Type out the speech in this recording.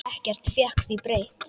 Ekkert fékk því breytt.